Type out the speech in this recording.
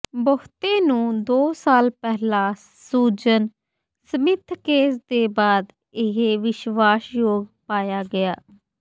ਬਹੁਤੇ ਨੂੰ ਦੋ ਸਾਲ ਪਹਿਲਾਂ ਸੁਜ਼ਨ ਸਮਿੱਥ ਕੇਸ ਦੇ ਬਾਅਦ ਇਹ ਵਿਸ਼ਵਾਸਯੋਗ ਪਾਇਆ ਗਿਆ